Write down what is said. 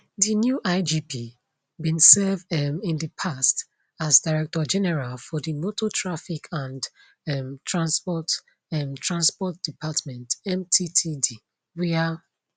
di new igp bin serve um in di past as director general for di motor traffic and um transport um transport department mttd wia